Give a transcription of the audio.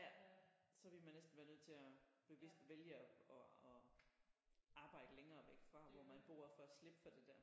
Ja så vil man næsten være nødt til at bevidst vælge at at at arbejde længere væk fra hvor man bor for at slippe for det der